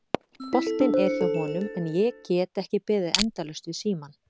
Boltinn er hjá honum en ég get ekki beðið endalaust við símann.